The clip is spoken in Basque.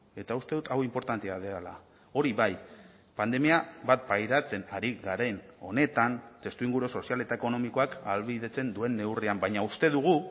eta uste dut hau inportantea dela hori bai pandemia bat pairatzen ari garen honetan testuinguru sozial eta ekonomikoak ahalbidetzen duen neurrian baina uste dugu